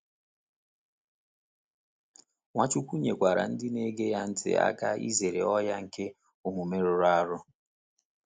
Nwachukwu nyekwara ndị na-ege ya ntị aka izere ọnyà nke omume rụrụ arụ.